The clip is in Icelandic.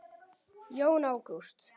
Jón Ágúst.